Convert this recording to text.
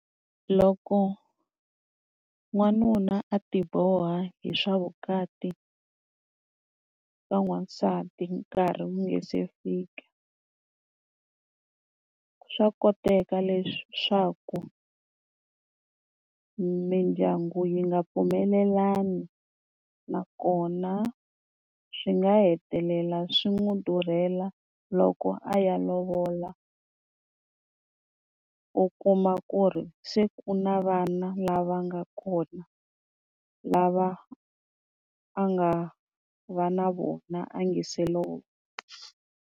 Loko n'wanuna a ti boha hi swa vukati, ka n'wansati nkarhi wu nga se fika, swa koteka leswaku mindyangu yi nga pfumelelani nakona swi nga hetelela swi n'wi durhela loko a ya lovola. U kuma ku ri se ku na vana lava nga kona lava a nga va na vona a nga se lovola.